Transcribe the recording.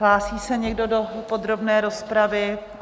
Hlásí se někdo do podrobné rozpravy?